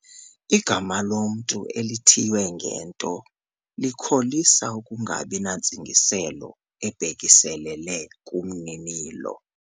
Igama lomntu elithiywe ngento likholisa ukungabi nantsingiselo ibhekiselele kumninilo.